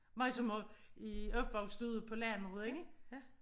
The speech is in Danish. Mig som har i opvokset i ude på landet ik